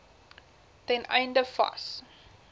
ten einde vas